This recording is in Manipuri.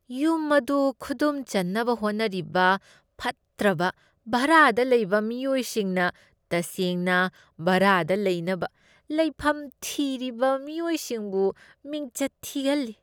ꯌꯨꯝ ꯑꯗꯨ ꯈꯨꯗꯨꯝ ꯆꯟꯅꯕ ꯍꯣꯠꯅꯔꯤꯕ ꯐꯠꯇ꯭ꯔꯕ ꯚꯥꯔꯥꯗ ꯂꯩꯕ ꯃꯤꯑꯣꯏꯁꯤꯡꯅ ꯇꯁꯦꯡꯅ ꯚꯥꯔꯥꯗ ꯂꯩꯅꯕ ꯂꯩꯐꯝ ꯊꯤꯔꯤꯕ ꯃꯤꯑꯣꯏꯁꯤꯡꯕꯨ ꯃꯤꯡꯆꯠ ꯊꯤꯍꯟꯂꯤ ꯫